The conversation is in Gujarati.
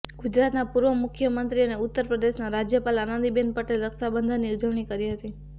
ગુજરાતના પૂર્વ મુખ્યમંત્રી અને ઉત્તર પ્રદેશના રાજ્યપાલ આનંદીબેન પટેલે રક્ષાબંધનની ઉજવણી કરી હતી